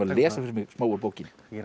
lesa fyrir mig smá úr bókinni